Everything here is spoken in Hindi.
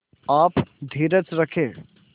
आप धीरज रखें